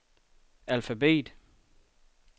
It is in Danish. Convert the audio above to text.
alfabet